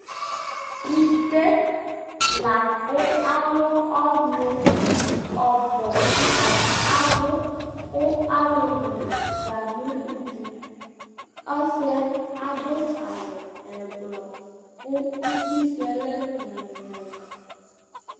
Ite lakʋ alʋɔnʋ ɔbʋ Atanɩ abʋ kʋ alulu nɩ afua nʋ udu Ɔsɩ yɛ adʋ awʋ ɛblɔ, kʋ uti sʋ yɛ lɛ nyɔlɩnyɔlɩ